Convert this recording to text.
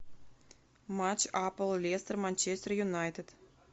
матч апл лестер манчестер юнайтед